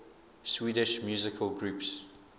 swedish musical groups